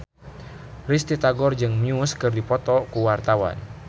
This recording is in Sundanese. Risty Tagor jeung Muse keur dipoto ku wartawan